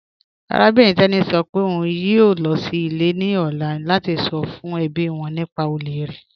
Arábìnrin Teni sọ́ pẹ̀ ọ̀un ń yoo lọ sí ilẹ̀ ni ọ̀lá lati sọ́ fún ẹbí wọn nípà òlè rẹ.